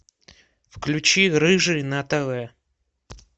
включи рыжий на тв